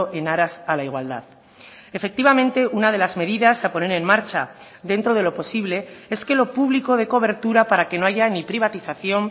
en aras a la igualdad efectivamente una de las medidas a poner en marcha dentro de lo posible es que lo público dé cobertura para que no haya ni privatización